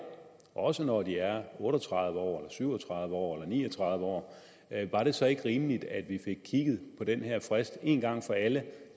også når de er otte og tredive år syv og tredive år eller ni og tredive år var det så ikke rimeligt at vi fik kigget på den her frist en gang for alle